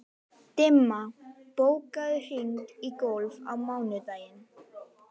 Dimma, bókaðu hring í golf á mánudaginn.